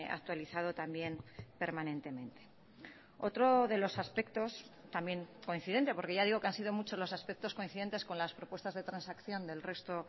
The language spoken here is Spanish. actualizado también permanentemente otro de los aspectos también coincidente porque ya digo que han sido muchos los aspectos coincidentes con las propuestas de transacción del resto